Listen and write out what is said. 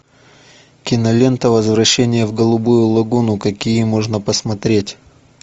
кинолента возвращение в голубую лагуну какие можно посмотреть